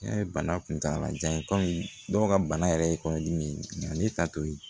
N'a ye bana kuntala jan ye kɔmi dɔw ka bana yɛrɛ ye kɔnɔdimi ye nka ne ta t'o ye